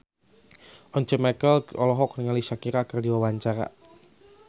Once Mekel olohok ningali Shakira keur diwawancara